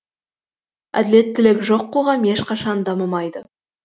әділеттілік жоқ қоғам ешқашан дамымайды